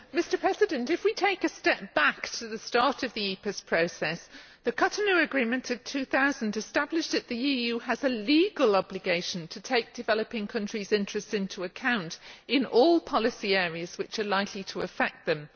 Mr President, if we take a step back to the start of the EPAs process, the Cotonou Agreement of 2000 established that the EU has a legal obligation to take developing countries' interests into account in all policy areas that are likely to affect them.